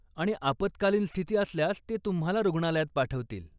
आणि आपत्कालीन स्थिती असल्यास ते तुम्हाला रुग्णालयात पाठवतील.